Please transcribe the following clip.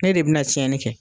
Ne de bi na tiɲɛni kɛ.